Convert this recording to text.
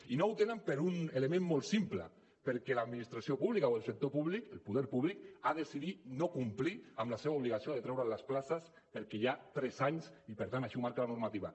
i no el tenen per un element molt simple perquè l’administració pública o el sector públic el poder públic ha decidit no complir amb la seva obligació de treure les places perquè hi ha tres anys i per tant així ho marca la normativa